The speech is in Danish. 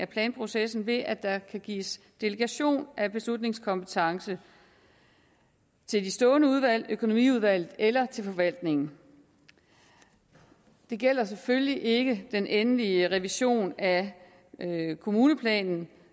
planprocessen ved at der kan gives delegationen af beslutningskompetencen til de stående udvalg økonomiudvalget eller til forvaltningen det gælder selvfølgelig ikke den endelige revision af kommuneplanen